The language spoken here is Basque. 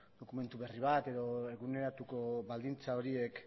dokumentu berri bat eguneratuko baldintza horiek